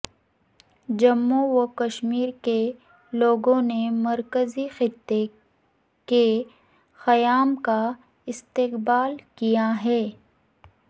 جموں وکشمیر کے لوگوں نے مرکزی خطے کے قیام کا استقبال کیا ہے